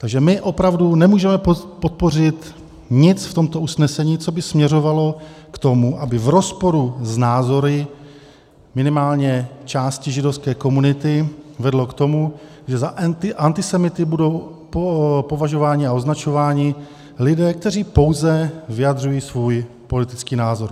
Takže my opravdu nemůžeme podpořit nic v tomto usnesení, co by směřovalo k tomu, aby v rozporu s názory minimálně části židovské komunity vedlo k tomu, že za antisemity budou považováni a označováni lidé, kteří pouze vyjadřují svůj politický názor.